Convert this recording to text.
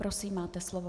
Prosím, máte slovo.